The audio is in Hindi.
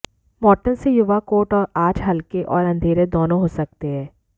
मौटन से युवा कोट आज हल्के और अंधेरे दोनों हो सकते हैं